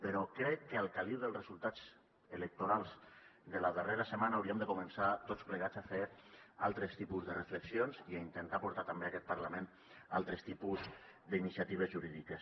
però crec que al caliu dels resultats electorals de la darrera setmana hauríem de començar tots plegats a fer altres tipus de reflexions i a intentar portar també a aquest parlament altres tipus d’iniciatives jurídiques